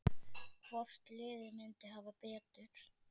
Hvort liðið myndi hafa betur?